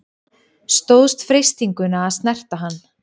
Stóðst freistinguna að snerta hann